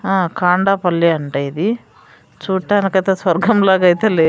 ఆ కాండపల్లి అంటా ఇది చూడటానికి అయితే స్వర్గంలాగైతే లేదు --